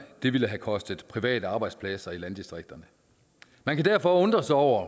det ville have kostet private arbejdspladser i landdistrikterne man kan derfor undre sig over